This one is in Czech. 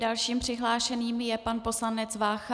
Dalším přihlášeným je pan poslanec Vácha.